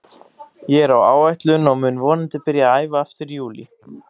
Ég er á áætlun og mun vonandi byrja að æfa aftur í júlí.